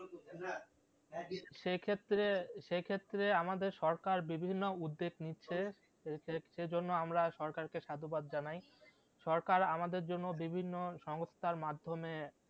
সে ক্ষেত্রে সে ক্ষেত্রে আমাদের সরকার বিভিন্ন উদ্যোগ নিচ্ছে সে জন্য আমরা সরকারকে সাধুবাদ জানাই সরকার আমাদের জন্য বিভিন্ন সংস্থার মাধ্যমে